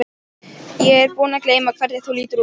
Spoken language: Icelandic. Ég er búin að gleyma hvernig þú lítur út.